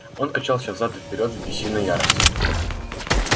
он качался взад и вперёд в бессильной ярости